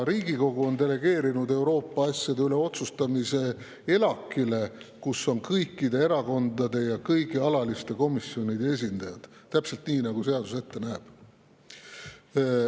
Riigikogu on delegeerinud Euroopa asjade üle otsustamise ELAK‑ile, kus on kõikide erakondade ja kõigi alatiste komisjonide esindajad – täpselt nii, nagu seadus ette näeb.